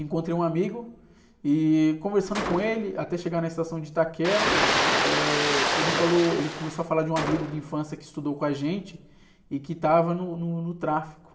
Encontrei um amigo e conversando com ele, até chegar na estação de Itaquera, eh, ele falou, ele começou a falar de um amigo de infância que estudou com a gente e que estava no, no, no tráfico.